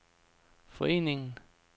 forening